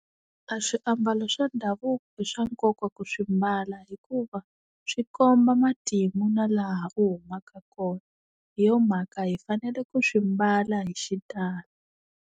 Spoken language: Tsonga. A swiambalo swa ndhavuko i swa nkoka ku swi mbala hikuva swi komba matimu na laha u humaka kona hi yo mhaka hi fanele ku swi mbala hi xitalo.